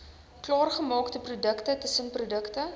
klaargemaakte produkte tussenprodukte